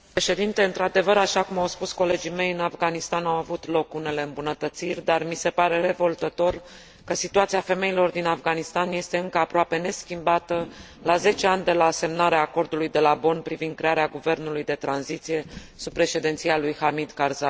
Într adevăr, așa cum au spus colegii mei, în Afganistan au avut loc unele îmbunătățiri, dar mi se pare revoltător că situația femeilor din Afganistan este încă aproape neschimbată la 10 ani de la semnarea Acordului de la Bonn privind crearea guvernului de tranziție sub președinția lui Hamid Karzai.